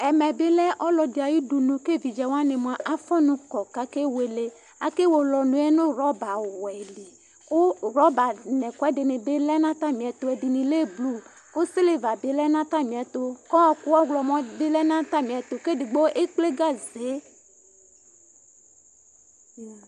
ɛmɛ lɛ ɔlɔdɩ ayudunu, evidzewanɩ kewele ɛkʊ, akewele ɔnʊ yɛ nʊ aŋẽ gagba li, kʊ gagba ɛdɩnɩ bɩ lɛ nʊ atamiɛtu, ɛdɩ ta lɛ blu, kʊ kpolu bɩ lɛ nʊ atamiɛtu, kʊ ɔkʊ ɔɣlɔmɔ bɩ lɛ nʊ atamiɛtʊ, kʊ edigbo ekple utuwɛ,